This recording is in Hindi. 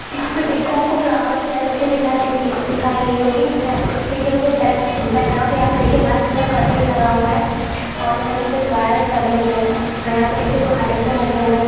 यहां पे देखिए आपको फ्लावर्स से डेकोरेशन दिखाई दे रही दिखाई गई होगी। यहां पे देखिए जो पीछे का जो ब्रेक बैकग्राउंड है यहां पे देखिए वाइट कलर का कर्टेन लगा हुआ है और जमीन में कुछ वायर फैले हुए हैं। और यहां पे देखिए दो हेलोजन लगे हुए हैं।